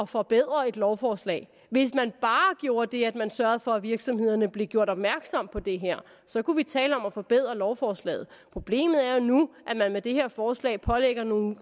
forbedre et lovforslag at hvis man bare gjorde det at man sørgede for at virksomhederne blev gjort opmærksomme på det her så kunne vi tale om at forbedre lovforslaget problemet er jo nu at man med det her forslag pålægger nogle